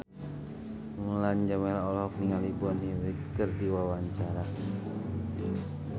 Mulan Jameela olohok ningali Bonnie Wright keur diwawancara